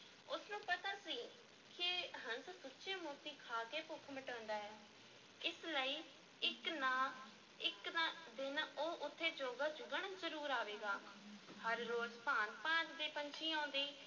ਉਸ ਨੂੰ ਪਤਾ ਸੀ ਕਿ ਹੰਸ ਸੁੱਚੇ ਮੋਤੀ ਖਾ ਕੇ ਭੁੱਖ ਮਿਟਾਉਂਦਾ ਹੈ, ਇਸ ਲਈ ਇੱਕ ਨਾ ਇੱਕ ਨਾ ਦਿਨ ਉਹ ਉੱਥੇ ਚੋਗਾ ਚੁਗਣ ਜ਼ਰੂਰ ਆਵੇਗਾ, ਹਰ ਰੋਜ਼ ਭਾਂਤ-ਭਾਂਤ ਦੇ ਪੰਛੀ ਆਉਂਦੇ